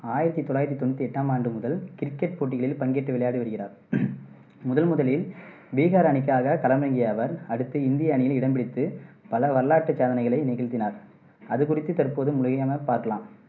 ஆயிரத்தி தொள்ளாயிரத்தி தொண்ணூத்தி எட்டாம் ஆண்டு முதல் கிரிக்கெட் போட்டிகளில் பங்கேற்று விளையாடி வருகிறார் முதl முதலில் பீகார் அணிக்காகக் களமிறங்கிய அவர், அடுத்து இந்திய அணியில் இடம் பிடித்து பல வரலாற்றுச் சாதனைகளை நிகழ்த்தினார். அதுகுறித்து தற்போது பார்க்கலாம்